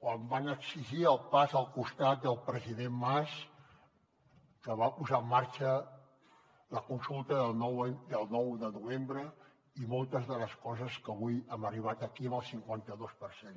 quan van exigir el pas al costat del president mas que va posar en marxa la consulta del nou de novembre i moltes de les coses amb què avui hem arribat aquí amb el cinquanta dos per cent